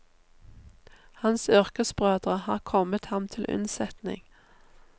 Hans yrkesbrødre har kommet ham til unnsetning.